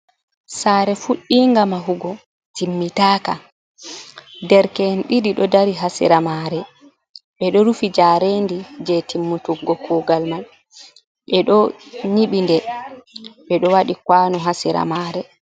Sare fudinga mahugo timmitaka, ɗerke'en ɗiɗi ɗo dari ha sera mare, ɓe ɗo rufi jarendi je timmutuggo kugal man, ɓe ɗo nyibi nde, ɓeɗo waɗi kwano ha sera mare.